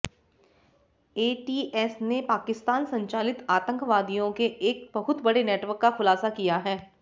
ATS ने पाकिस्तान संचालित आतंकवादियों के एक बहुत बड़े नेटवर्क का खुलासा किया है